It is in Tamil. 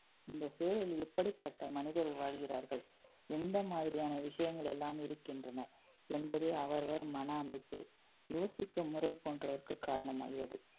இந்த சூழலில் எப்படிப்பட்ட மனிதர் வாழ்கிறார்கள் எந்த மாதிரியான விஷயங்கள் எல்லாம் இருக்கின்றன என்பதே அவரவர் மன அமைப்பு, யோசிக்கும் முறை போன்றதற்கு காரணமாகியது